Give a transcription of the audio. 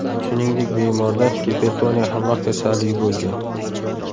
Shuningdek, bemorda gipertoniya hamroh kasalligi bo‘lgan.